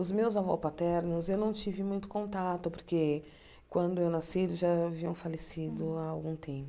Os meus avôs paternos eu não tive muito contato porque quando eu nasci eles já haviam falecido há algum tempo.